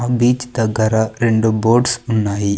ఆ బీచ్ దగ్గర రెండు బోట్స్ ఉన్నాయి.